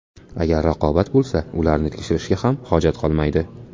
Agar raqobat bo‘lsa, ularni tekshirishga ham hojat qolmaydi.